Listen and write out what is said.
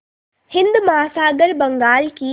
हिंद महासागर बंगाल की